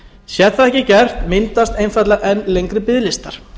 sé það ekki gert myndast einfaldlega enn lengri biðlistar